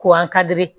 Ko an ka diri